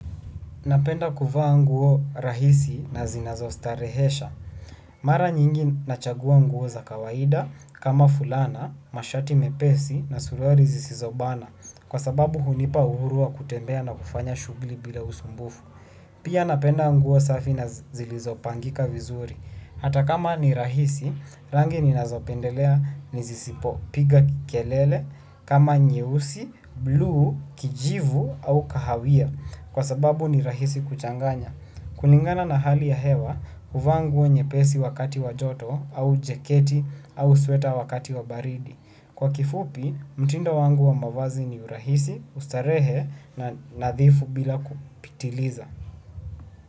Napenda kuvaa nguo rahisi, na zinazostarehesha. Mara nyingi nachagua nguo za kawaida kama fulana, mashati mepesi na suruali zisizobana. Kwa sababu hunipa uhuru wa kutembea na kufanya shughli bila usumbufu. Pia napenda nguo safi na zilizopangika vizuri. Hata kama ni rahisi, rangi ninazopendelea nizisipo piga kelele, kama nyeusi, bluu, kijivu au kahawia. Kwa sababu ni rahisi kuchanganya. Kulingana na hali ya hewa, huvaa nguo nyepesi wakati wajoto, au jeketi, au sweta wakati wabaridi. Kwa kifupi, mtindo wangu wa mavazi ni urahisi, ustarehe na nadhifu bila kupitiliza.